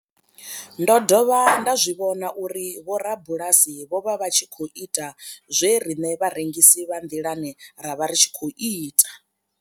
Ndo dovha nda zwi vhona uri vhorabulasi vho vha vha tshi khou ita zwe riṋe vharengisi vha nḓilani ra vha ri tshi khou ita.